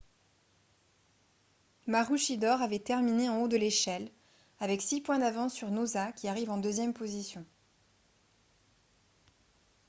maroochydore avait terminé en haut de l'échelle avec six points d'avance sur noosa qui arrive en deuxième position